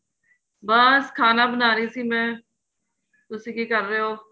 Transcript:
ਬੱਸ ਖਾਨਾ ਬਣਾ ਰਹੀ ਸੀ ਮੈਂ ਤੁਸੀਂ ਕਿ ਕਰ ਰਹੇ ਹੋ